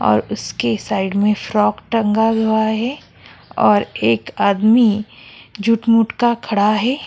और उसके साइड में फ्रॉक टंगा हुआ है और एक आदमी झूठ मूठ का खड़ा है।